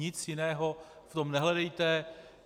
Nic jiného v tom nehledejte.